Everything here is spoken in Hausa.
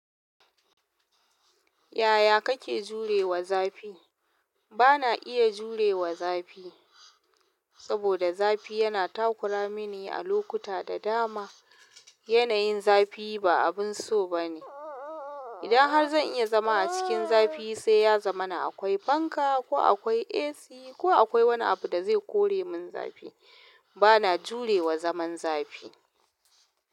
Ya ya kake jure wa zafi bana iya jure wa zafi, saboda zafi yana takura mini a lokuta da dama. Yanayin zafi ba abin so ba ne. Idan har zan iya zama a cikin zafi sai ya zama na akwai fanka ko akwai AC ko akwai wani abu da zai kore min zafi. Bana jure wa zaman zafi.